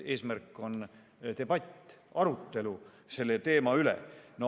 Eesmärk on debatt, aruelu selle teema üle.